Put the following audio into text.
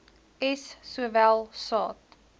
s sowel saad